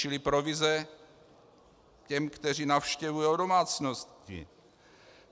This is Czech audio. Čili provize těm, kteří navštěvují domácnosti.